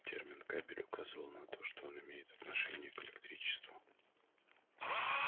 термин кабель указывал на то что он имеет отношение к электричеству